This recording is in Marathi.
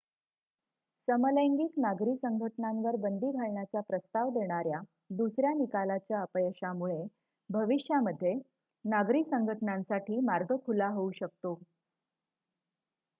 समलैंगिक नागरी संघटनांवर बंदी घालण्याचा प्रस्ताव देणाऱ्या दुसऱ्या निकालाच्या अपयशामुळे भविष्यामध्ये नागरी संघटनांसाठी मार्ग खुला होऊ शकतो